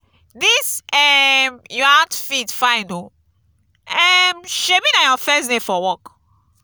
dis um your outfit fine oo um shebi na your first day for work?